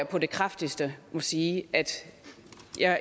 på det kraftigste sige at